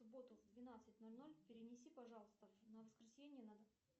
в субботу в двенадцать ноль ноль перенеси пожалуйста на воскресенье